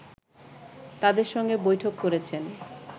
তাদের সঙ্গে বৈঠক করেছেন